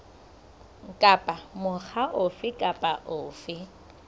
kapa mokga ofe kapa ofe